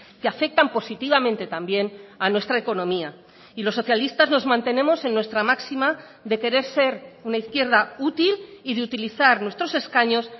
que afectan positivamente también a nuestra economía y los socialistas nos mantenemos en nuestra máxima de querer ser una izquierda útil y de utilizar nuestros escaños